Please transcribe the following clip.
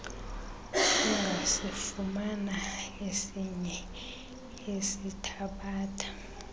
ungasifumana esinye esithabatha